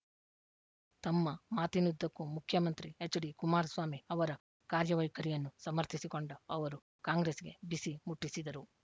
ತಮ್ಮ ಮಾತಿನುದ್ದಕ್ಕೂ ಮುಖ್ಯಮಂತ್ರಿ ಎಚ್‌ಡಿಕುಮಾರಸ್ವಾಮಿ ಅವರ ಕಾರ್ಯವೈಖರಿಯನ್ನು ಸಮರ್ಥಿಸಿಕೊಂಡ ಅವರು ಕಾಂಗ್ರೆಸ್‌ಗೆ ಬಿಸಿ ಮುಟ್ಟಿಸಿದರು